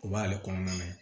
O b'ale kɔnɔna ye